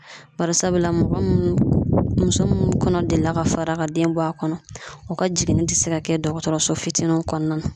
Barisabula mɔgɔ munnu muso minnu kɔnɔ delila ka fara ka den bɔ a kɔnɔ , u ka jiginni tɛ se ka kɛ dɔgɔtɔrɔso fitininw kɔnɔna na.